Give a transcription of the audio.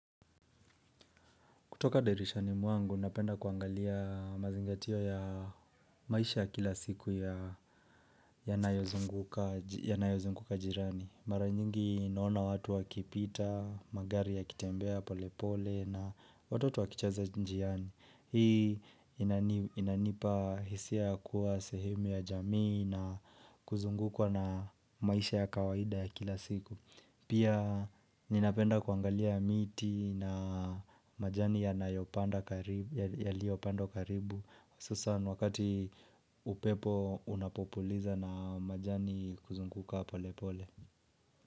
Kutoka dirishani mwangu, napenda kuangalia mazingatio ya maisha ya kila siku ya yanayozunguka jirani. Mara nyingi naona watu wakipita, magari yakitembea pole pole na watoto wakicheza njiani. Hii inanipa hisia ya kuwa sehemu ya jamii na kuzungukwa na maisha ya kawaida ya kila siku. Pia ninapenda kuangalia miti na majani yaliyopandwa karibu hususan wakati upepo unapopuliza na majani kuzunguka pole pole.